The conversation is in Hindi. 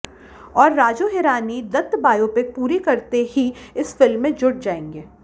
और राजू हिरानी दत्त बायोपिक पूरी करते ही इस फिल्म में जुट जाएंगे